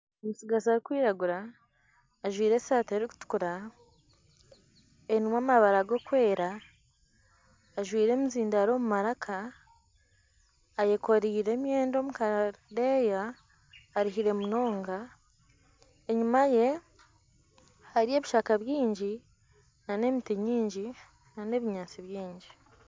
Omutsigazi arikwiragura ajwire esaati erikutukura erimu amabara garikwera ajwire emizindaaro omu maraka, eyakooreire emyenda omu kadeeya aruhire munonga, enyima ye hariyo ebishaka byingi nana emiti mingi nana ebinyaatsi byingi